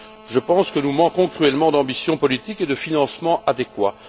Je pense que nous manquons cruellement d'ambition politique et de financements adéquats.